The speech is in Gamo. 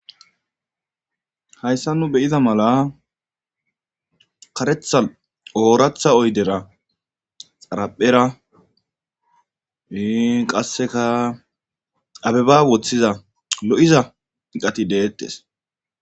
Hayssan nu be7iza karetha ooratha oydera xaraphera ii qasseka abeba wothiza lo7iza iqati deettes